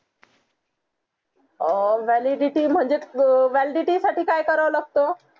अं validity म्हणजेच validity साठी काय कराव लागत